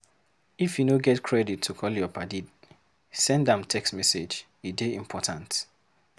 If you no get credit to call your paddy send am text message, e dey important.